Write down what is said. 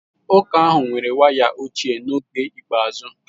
Ụka ahụ nwere waya ochie n'oge ikpeazụ.